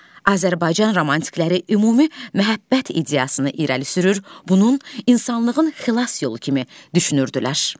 Azərbaycan romantikləri ümumi məhəbbət ideyasını irəli sürür, bunun insanlığın xilas yolu kimi düşünürdülər.